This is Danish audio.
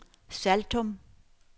Saltum